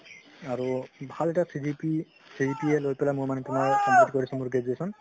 আৰু ভাল এটা CGP CGPA লৈ পিনে মই মানে তুমাৰ complete কৰিছো মোৰ graduation